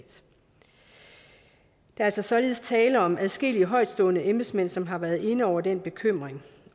altså således tale om adskillige højtstående embedsmænd som har været inde over den bekymring